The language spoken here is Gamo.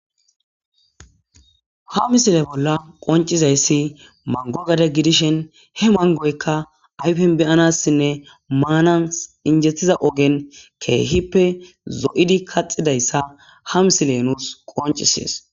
ha misile bolla qoncizayssi mangogade gidishen he mangoykka ayfen beyanassinne maanan injetiza ogen keehippe zo7idi kaxidayssa ha misile nuus qoncisees